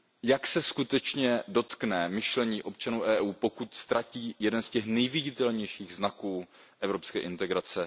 Jak se skutečně dotkne myšlení občanů Evropské unie, pokud ztratí jeden z těch nejviditelnějších znaků evropské integrace?